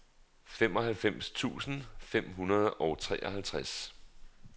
femoghalvfems tusind fem hundrede og treoghalvtreds